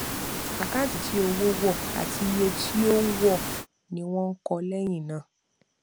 àkáǹtì tí owó wọ àti iye tí ó ó wọọ ni wọn kọ lẹyìn náà